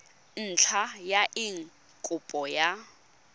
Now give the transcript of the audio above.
ntlha ya eng kopo ya